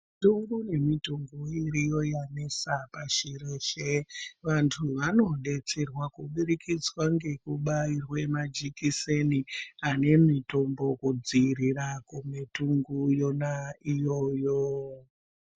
Mitungu ngemitungu iriyo yanesa pashi reshe. Vantu vanodetserwa kubudikidzwa ngekubaiwa majekiseni anemitombo yekudziirira kwemitungu yona iyoyo.